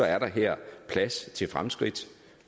er der her plads til fremskridt